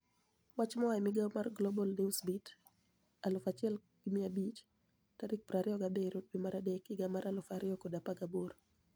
Wach moa e migao mar Global ni ewsbeat 1500 27/03/2018